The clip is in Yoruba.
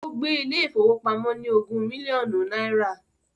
Ó gbé ilé ìfowópamọ́ ní ogún mílíọ̀nù náírà